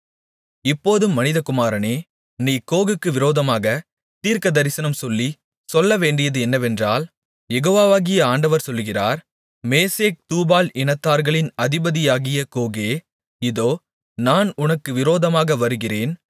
இப்போதும் மனிதகுமாரனே நீ கோகுக்கு விரோதமாகத் தீர்க்கதரிசனம் சொல்லிச் சொல்லவேண்டியது என்னவென்றால் யெகோவாகிய ஆண்டவர் சொல்லுகிறார் மேசேக் தூபால் இனத்தார்களின் அதிபதியாகிய கோகே இதோ நான் உனக்கு விரோதமாக வருகிறேன்